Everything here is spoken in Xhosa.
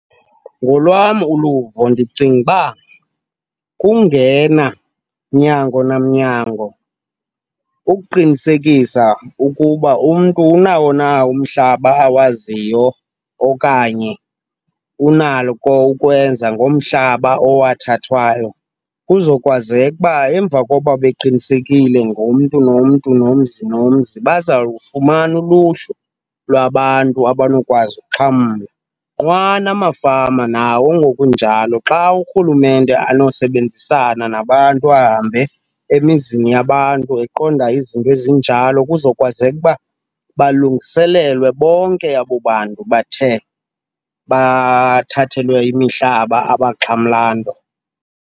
Ngolwam uluvo ndicinga uba kungena mnyango namnyango ukuqinisekisa ukuba umntu unawo na umhlaba awaziyo okanye unalo ukwenza ngomhlaba owathathwayo. Kuzokwazeka uba emva kokuba beqinisekile ngomntu nomntu, nomzi nomzi, bazawufumana uluhlu lwabantu abanokwazi uxhamla. Nqwa namafama nawo ngokunjalo, xa urhulumente anosebenzisana nabantu, ahambe emizini yabantu eqonda izinto ezinjalo kuzokwazeka uba balungiselelwe bonke abo bantu bathe bathathelwe imihlaba abaxhamla nto.